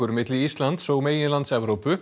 milli Íslands og meginlands Evrópu